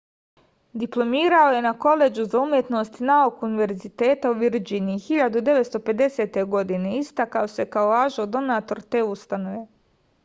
diplomirao je na koledžu za umetnost i nauku univerziteta u virdžiniji 1950. godine i istakao se kao važan donator te ustanove